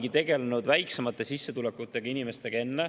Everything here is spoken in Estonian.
Me olemegi tegelenud väiksema sissetulekuga inimestega enne.